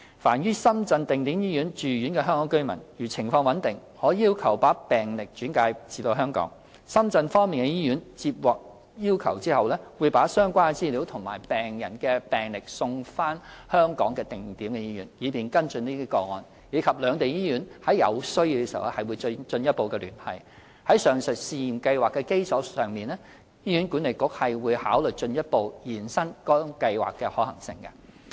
凡於深圳的定點醫院住院的香港居民，如情況穩定，可要求把病歷轉介至香港。深圳方面的醫院接獲要求後，會把相關資料和病人的病歷送交香港的定點醫院，以便跟進個案，而兩地醫院在有需要時會進一步聯繫。在上述試驗計劃的基礎上，醫管局會考慮進一步延伸該計劃的可行性。